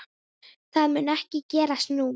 Það mun ekki gerast nú.